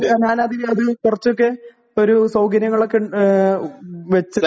ഞാനത് കുറച്ചൊക്കെ ഒരു സൗകര്യങ്ങളൊക്കെ വെച്ച്